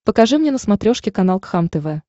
покажи мне на смотрешке канал кхлм тв